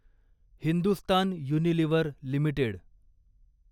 Hindustan Unilever limited